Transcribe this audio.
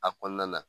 A kɔnɔna na